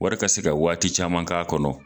Wari ka se ka waati caman k'a kɔnɔ